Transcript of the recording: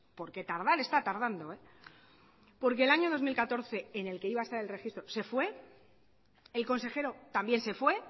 porque tardar está tardando porque el año dos mil catorce en el que iba a estar el registro se fue el consejero también se fue